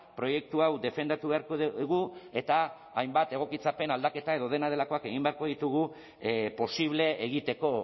proiektu hau defendatu beharko dugu eta hainbat egokitzapen aldaketa edo dena delakoak egin beharko ditugu posible egiteko